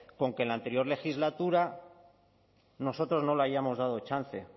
con que en el anterior legislatura nosotros no lo hayamos dado chance